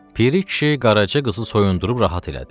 Piri kişi Qaraça qızı soyundub rahat elədi.